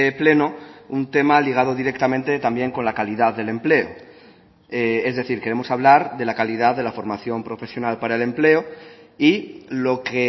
pleno un tema ligado directamente también con la calidad del empleo es decir queremos hablar de la calidad de la formación profesional para el empleo y lo que